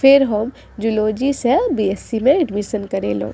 फिर हम जूलॉजी से बी.एस.सी. में एडमिशन करेलो।